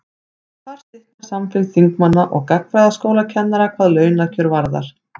þar slitnar samfylgd þingmanna og gagnfræðaskólakennara hvað launakjör varðar